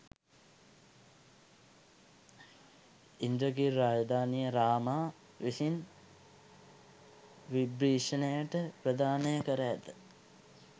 ඉන්ද්‍රගිරි රාජධානිය රාමා විසින් විභිශණට ප්‍රධානය කර ඇත